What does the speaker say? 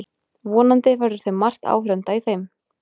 Vonandi verður margt áhorfenda í þeim